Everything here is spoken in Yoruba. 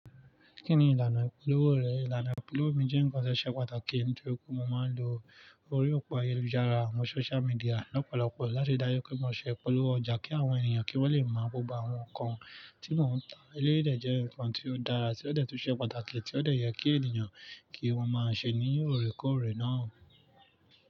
Kí ni ìlànà ìpolówó rẹ̀? Ìlànà ìpolówó mi jẹ́ nǹkan tio pàtàkì, nítorí pé mo máa ń lo orí òpó ayélujára, àwọn social media lọ́pọ̀lọpọ̀ láti dáyé pé mo ṣẹ́ ipolo ọjà kí àwọn ènìyàn kí wọ́n lè mo gbógbo àwọn nǹkan tí mò ń tà. Eleyi dẹ̀ jẹ́ nǹkan tí ó dára, tí ó dẹ̀ tún ṣe pàtàkì, tí ó dẹ̀ yẹ kí ènìyàn kí wọ́n máa ṣe ní orekore náà.